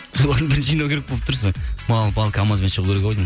солардың бәрін жинау керек болып тұр сол мал пал камазбен шығу керек ау деймін